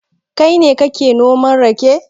Kai ne kake noman rake?